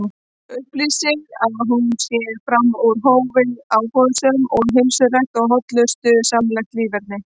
Upplýsir að hún sé fram úr hófi áhugasöm um heilsurækt og hollustusamlegt líferni.